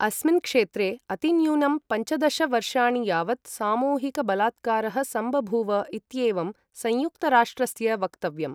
अस्मिन् क्षेत्रे अतिन्यूनं पञ्चदश वर्षाणि यावत् सामूहिकबलात्कारः सम्बभूव इत्येवं संयुक्तराष्ट्रस्य वक्तव्यम्।